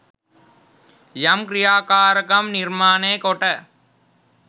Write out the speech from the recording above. යම් ක්‍රියාකාරකම් නිර්මාණය කොට